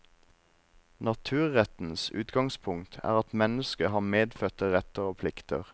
Naturrettens utgangspunkt er at mennesket har medfødte retter og plikter.